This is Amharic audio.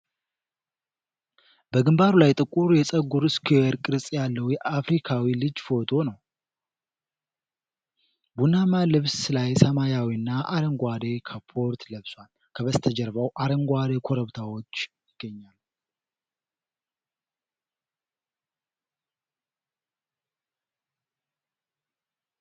በግንባሩ ላይ ጥቁር የፀጉር ስኩዌር ቅርጽ ያለው የአፍሪካዊ ልጅ ፎቶ ነው። ቡናማ ልብስ ላይ ሰማያዊና አረንጓዴ ካፖርት ለብሷል። ከበስተጀርባው አረንጓዴ ኮረብታዎች ይገኛሉ።